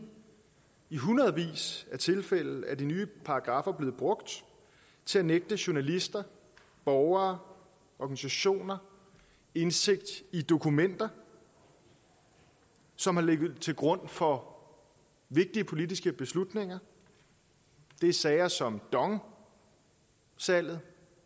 i hundredvis af tilfælde er de nye paragraffer blevet brugt til at nægte journalister borgere organisationer indsigt i dokumenter som har ligget til grund for vigtige politiske beslutninger det er sager som dong salget